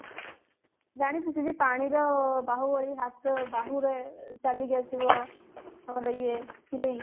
ଜାଣିଛୁ ସେ ଯୋଉ ପାଣିର ବାହୁବଳି ହାତ ବାହୁରେ ଚାଲିକି ଆସିବ ଆମର ଇଏ heroin